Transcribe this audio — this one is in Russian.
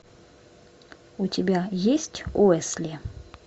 у тебя есть уэсли